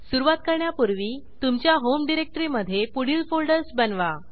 सुरूवात करण्यापूर्वी तुमच्या होम डिरेक्टरीमधे पुढील फोल्डर्स बनवा